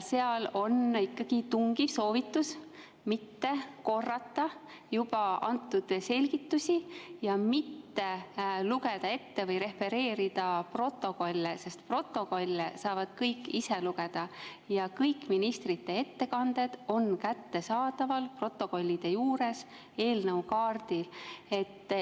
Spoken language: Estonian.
Seal on ikkagi tungiv soovitus mitte korrata juba antud selgitusi ja mitte lugeda ette või refereerida protokolle, sest protokolle saavad kõik ise lugeda ja ka kõik ministrite ettekanded on kättesaadavad protokollide juures eelnõu kaardil.